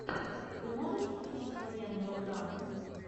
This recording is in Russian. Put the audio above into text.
ты можешь включить военную драму